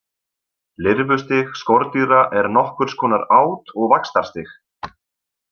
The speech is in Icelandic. Lirfustig skordýra er nokkurs konar át- og vaxtarstig.